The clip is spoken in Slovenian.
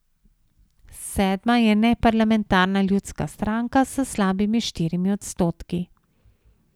Sedma je neparlamentarna Ljudska stranka s slabimi štirimi odstotki.